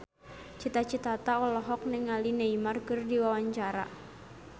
Cita Citata olohok ningali Neymar keur diwawancara